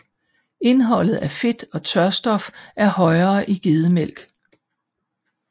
Indholdet af fedt og tørstof er højere i gedemælk